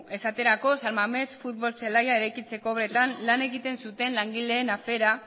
esaterako san mames futbol zelaia eraikitzeko obretan lan egiten zuten langileen afera